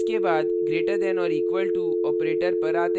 इसके बाद greater than or equal to operator पर आते हैं